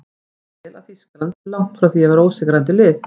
Ég tel að Þýskaland sé langt frá því að vera ósigrandi lið.